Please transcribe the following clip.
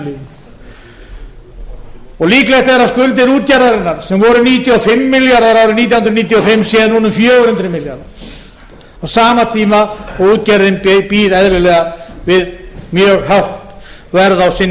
líklegt er að skuldir útgerðarinnar sem voru níutíu og fimm milljarðar árið nítján hundruð níutíu og fimm séu núna um fjögur hundruð milljarðar á sama tíma og útgerðin býr eðlilega við mjög hátt verð